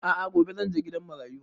A'a gobe zan je gidan marayu